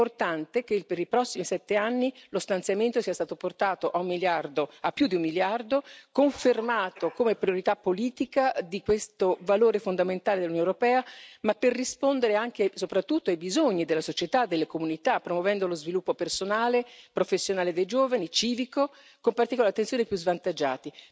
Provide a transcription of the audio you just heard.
È importante che per i prossimi sette anni lo stanziamento sia stato portato a più di un miliardo, confermando come priorità politica questo valore fondamentale dell'Unione europea, per rispondere soprattutto ai bisogni della società, delle comunità, promuovendo lo sviluppo personale e professionale dei giovani, civico, con particolare attenzione ai più svantaggiati.